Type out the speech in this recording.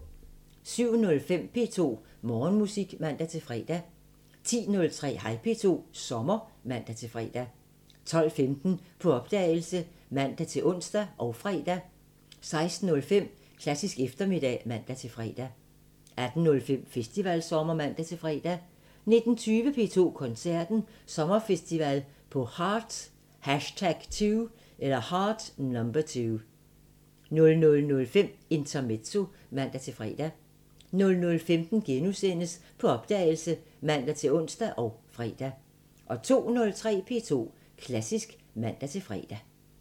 07:05: P2 Morgenmusik (man-fre) 10:03: Hej P2 – sommer (man-fre) 12:15: På opdagelse (man-ons og fre) 16:05: Klassisk eftermiddag (man-fre) 18:05: Festivalsommer (man-fre) 19:20: P2 Koncerten – Sommerfestival på Heart #2 00:05: Intermezzo (man-fre) 00:15: På opdagelse *(man-ons og fre) 02:03: P2 Klassisk (man-fre)